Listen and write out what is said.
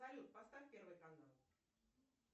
салют поставь первый канал